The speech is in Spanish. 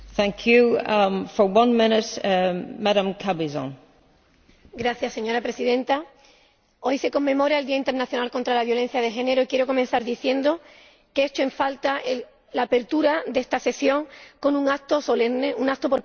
Señora Presidenta, hoy se conmemora el Día Internacional contra la Violencia de Género y quiero comenzar diciendo que echo en falta la apertura de esta sesión con un acto solemne, un acto por parte del Parlamento Europeo, como quizá también echo en falta que precisamente esta